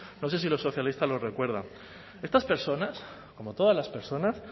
no sé si los socialistas lo recuerdan estas personas como todas las personas